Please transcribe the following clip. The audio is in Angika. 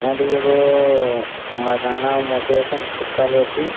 या दी एगो अअ मर्दाना हो मोटे एसन सुत्तल हो एक ठी।